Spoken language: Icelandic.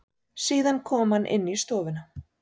Síðan kom hann í stofuna.